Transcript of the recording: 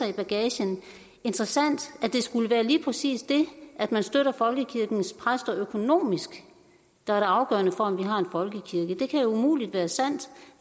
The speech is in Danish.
i bagagen interessant at det skulle være lige præcis det at man støtter folkekirkens præster økonomisk der er det afgørende for om vi har en folkekirke det kan umuligt være sandt